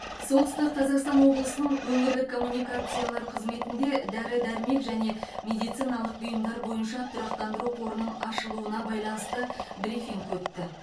солтүстік қазақстан облысының өңірлік коммуникациялар қызметінде дәрі дәрмек және медициналық бұйымдар бойынша тұрақтандыру қорының ашылуына байланысты брифинг өтті